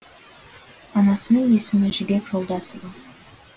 анасының есімі жібек жолдасова